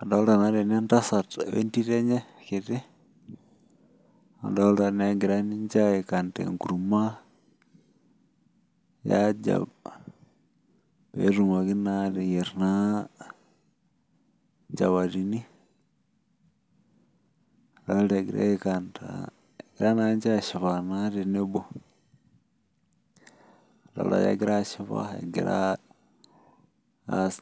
Arolta na tene entasat wenkerai enye kiti nadolta egira aikanda enkurma e aja petumoki na ateyier nchapatini aldolta egira ashipa tenebo adol ake egira ashipa egirabaas